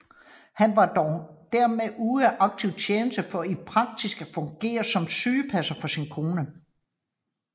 Han var dog dermed ude af aktiv tjeneste for i praksis at fungere som sygepasser for sin kone